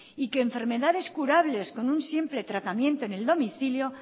y que enfermedades curables con un simple tratamiento en el domicilio